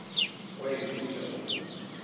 o a e bula o